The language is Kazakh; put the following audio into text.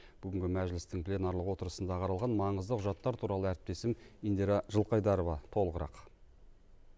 бүгінгі мәжілістің пленарлық отырысында қаралған маңызды құжаттар туралы әріптесім индира жылқайдарова толығырақ